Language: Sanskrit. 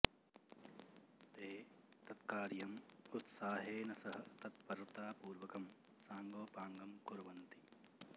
ते तत् कार्यम् उत्साहेन सह तत्परतापूर्वकं साङ्गोपाङ्गं कुर्वन्ति